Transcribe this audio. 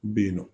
Bɛ yen nɔ